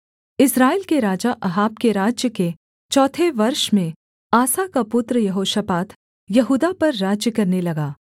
इस्राएल के राजा अहाब के राज्य के चौथे वर्ष में आसा का पुत्र यहोशापात यहूदा पर राज्य करने लगा